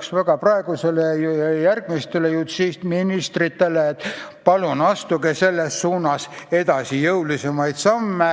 soovitan praegusele ministrile ja järgmistele justiitsministritele: palun astuge selles suunas jõulisemaid samme.